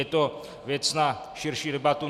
Je to věc na širší debatu.